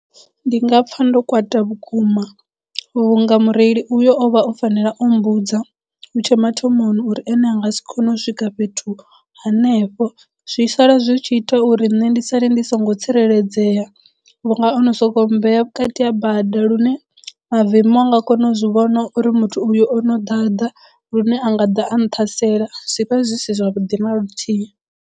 Ndi nga pfa ndo kwata vhukuma vhunga mureili uyo o vha o fanela o mmbudza hutshe mathomoni uri ene a nga si kone u swika fhethu hanefho zwi sala zwi tshi ita uri nṋe ndi sale ndi songo tsireledzea vhu nga ono sokou mmbea vhukati ha bada lune mavemu a nga kona u zwi vhona uri muthu uyu ono ḓaḓa lune a nga ḓa a nṱhasela zwi vha zwi si zwavhuḓi na luthihi.